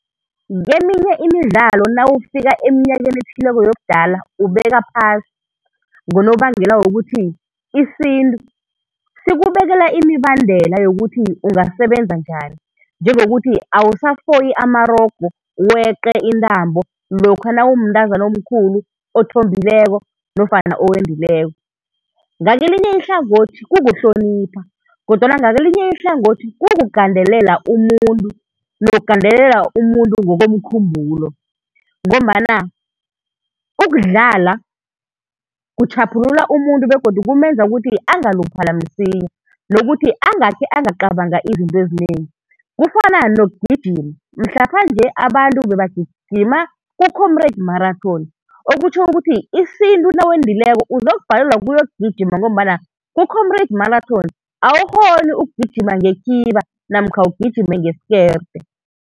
Keminye imidlalo nawufika eminyakeni ethileko yobudala ubeka phasi ngonobangela wokuthi isintu sikubekela imibandela yokuthi ungasebenza njani njengokuthi awusafoyi amarogo, weqe intambo lokha nawumntazana omkhulu othombileko, nofana owendileko. Ngakelinye ihlangothi kukuhlonipha, kodwana ngakelinye ihlangothi kukugandelela umuntu, nokugandelela umuntu ngokomkhumbulo. Ngombana ukudlala kutjhaphulula umuntu begodu kumenza ukuthi angaluphala msinya, nokuthi angakhe angacabanga izinto ezinengi. Kufana nokugijima, mhlapha-nje abantu bebagijima ku-Comrades Marathon okutjho ukuthi isintu nawendileko uzokubhalelwa kukuyogijima ngombana ku-Comrades Marathon awukghoni ukugijima ngekhiba namkha ugijime ngeskerte.